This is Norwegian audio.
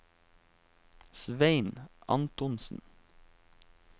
Svein Antonsen